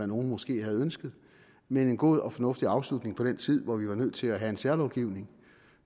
nogle måske havde ønsket men en god og fornuftig afslutning på den tid hvor vi var nødt til at have en særlovgivning